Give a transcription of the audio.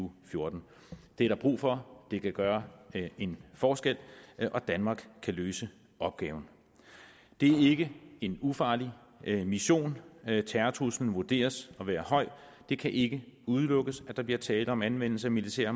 og fjorten det er der brug for det kan gøre en forskel og danmark kan løse opgaven det er ikke en ufarlig mission terrortruslen vurderes at være høj og det kan ikke udelukkes at der bliver tale om anvendelse af militære